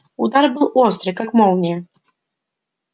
удар был острый как молния